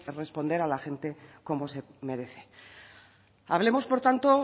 responder a la gente como se merece hablemos por tanto